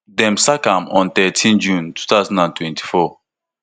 dem sack am on thirteen june two thousand and twenty-four